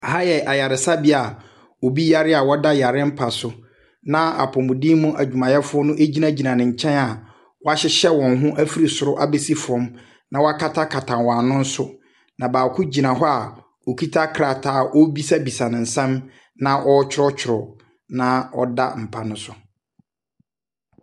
Ɛha yɛ ayaresabea a obi yare a ɔda yare mpa so, na apɔmuden mu adwumayɛfoɔ no gyinagyina ne nkyɛn a wɔahyehyɛ wɔn ho afiri soro abɛsi fam, na wɔakatakata wɔn ano nso. Na baako gyina hɔ a ɔkita krataa a ɔrebisabisa nsɛm, na ɔretwerɛtwerɛ na ɔda mpa no so.